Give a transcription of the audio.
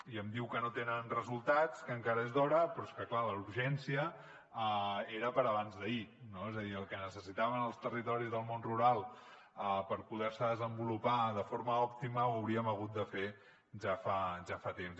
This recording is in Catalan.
i em diu que no tenen resultats que encara és d’hora però és que clar la urgència era per a abans d’ahir no és a dir el que necessitaven els territoris del món rural per poder se desenvolupar de forma òptima ho hauríem hagut de fer ja fa temps